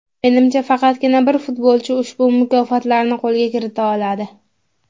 Menimcha, faqatgina bir futbolchi ushbu mukofotlarni qo‘lga kirita oladi.